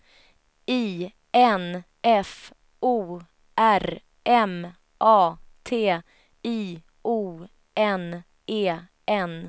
I N F O R M A T I O N E N